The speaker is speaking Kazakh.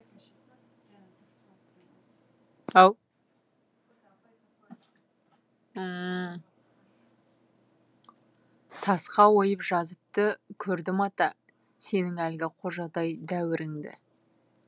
тасқа ойып жазыпты көрдім ата сенің әлгі қожадай дәуіріңді